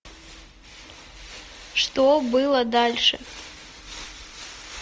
что было дальше